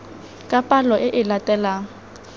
ka palo e e latelang